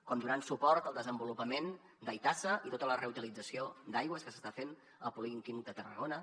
com donant suport al desenvolupament d’aitasa i tota la reutilització d’aigües que s’està fent al polígon químic de tarragona